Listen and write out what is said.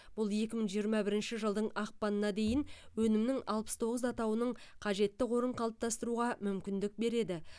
бұл екі мың жиырма бірінші жылдың ақпанына дейін өнімнің алпыс тоғыз атауының қажетті қорын қалыптастыруға мүмкіндік береді